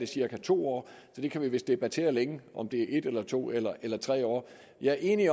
cirka to år så det kan vi vist debattere længe om det er en eller to eller eller tre år jeg er enig